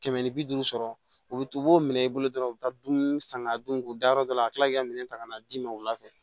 Kɛmɛ ni bi duuru sɔrɔ u bi u b'o minɛ i bolo dɔrɔn u bi taa dun san ka dun u da yɔrɔ dɔ la ka kila k'i ka minɛn ta ka na d'i ma wula fɛ